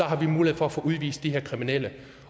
have mulighed for at få udvist de her kriminelle